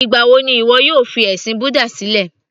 Ìgbà wo ni ìwọ yóò fi ẹ̀sìn búdà sílẹ̀